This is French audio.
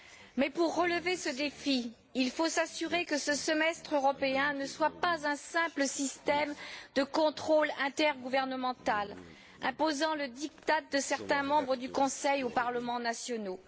Mais pour relever ce défi, il faut s'assurer que ce semestre européen ne soit pas un simple système de contrôle intergouvernemental imposant le diktat de certains membres du Conseil aux parlements nationaux.